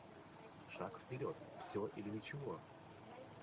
шаг вперед все или ничего